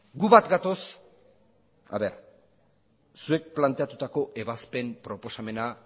guk bat gatoz zuek planteatutako ebazpen proposamena